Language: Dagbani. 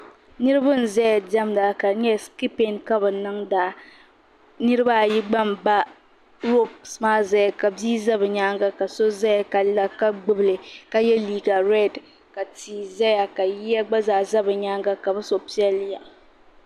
Niribi n ƶɛya ndɛmda ka dɛ nyala skipping ka bi ninŋda niriba ayi gba n ba hops maa n ƶaya ka bia ƶa bi nyɛnga ka so ƶaya kala ka gbibli ka yɛ liga red ka tia ƶaya ka yiya gba ƶaa bɛ bi nyaaŋa ka bi so pelya.